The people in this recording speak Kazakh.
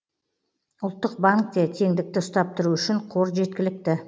ұлттық банкте теңдікті ұстап тұру үшін қор жеткілікті